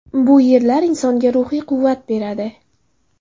Bu yerlar insonga ruhiy quvvat beradi.